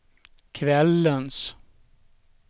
kvällens